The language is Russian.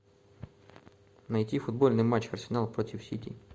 найти футбольный матч арсенал против сити